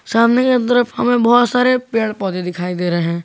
सामने की तरफ हमें बहोत सारे पेड़ पौधे दिखाई दे रहे हैं।